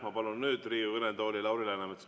Ma palun nüüd Riigikogu kõnetooli Lauri Läänemetsa.